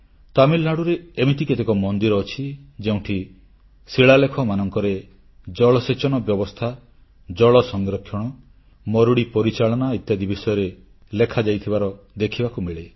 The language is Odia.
ତାମିଲନାଡୁରେ ଏମିତି କେତେକ ମନ୍ଦିର ଅଛି ଯେଉଁଠି ଶିଳାଲେଖମାନଙ୍କରେ ଜଳସେଚନ ବ୍ୟବସ୍ଥା ଜଳସଂରକ୍ଷଣ ମରୁଡ଼ି ପରିଚାଳନା ଇତ୍ୟାଦି ବିଷୟରେ ଲେଖାଯାଇଥିବାର ଦେଖିବାକୁ ମିଳେ